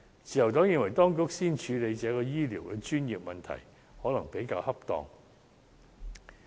自由黨認為，當局先處理這個醫療專業問題，可能比較恰當。